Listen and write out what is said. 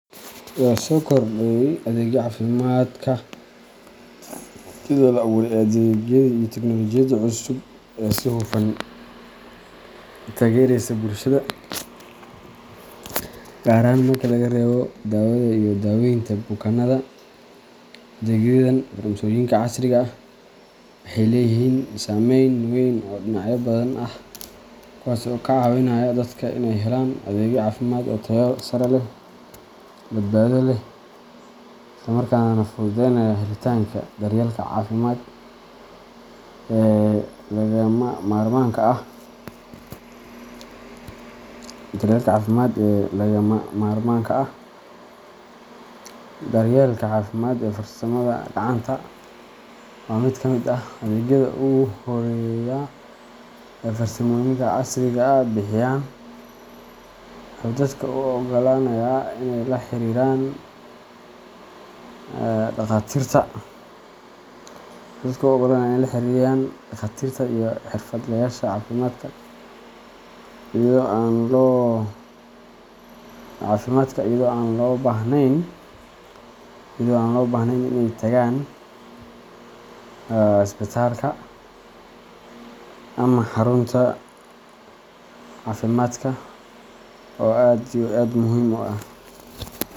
Soo kordhay adeegyada caafimaadka, iyadoo la abuuray adeegyadii iyo tignoolajiyadii cusub ee si hufan u taageeraya bulshada, gaar ahaan marka laga reebo daawada iyo daaweynta bukaanada. Adeegyadan farsamooyinka casriga ah waxay leeyihiin saameyn weyn oo dhinacyo badan ah, kuwaas oo ka caawinaya dadka inay helaan adeegyo caafimaad oo tayo sare leh, badbaado leh, isla markaana fududeynaya helitaanka daryeelka caafimaad ee lagama maarmaanka ah. Daryeelka Caafimaad ee Farsamada Gacanta waa mid ka mid ah adeegyada ugu horreeya ee ay farsamooyinka casriga ah bixiyaan. Wuxuu dadka u oggolaanayaa inay la xiriiraan dhakhaatiirta iyo xirfadlayaasha caafimaadka iyada oo aan loo baahnayn inay tagaan isbitaalka ama xarunta caafimaadka oo aad iyo aad muhim u ah.